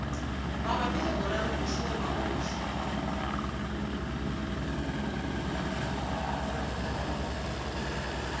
mabapi le morero ofe goba